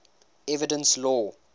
evidence law